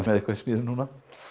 eitthvað í smíðum núna